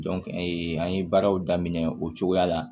an ye baaraw daminɛ o cogoya la